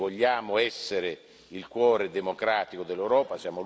Noi vogliamo essere il cuore democratico dell'Europa.